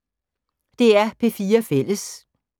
DR P4 Fælles